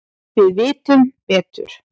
Við vitum betur